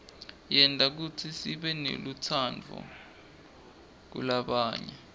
yenta kutsi sibenelutsaadvu kulabanye